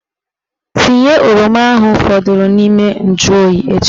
Tinye oroma ahụ fọdụrụ n'ime njuoyi echi!